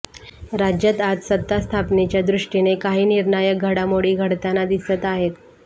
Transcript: राज्यात आज सत्ता स्थापनेच्या दृष्टीने काही निर्णायक घडामोडी घडताना दिसत आहेत